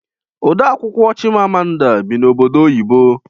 Ode akwụkwọ Chimamanda bi n'obodo oyibo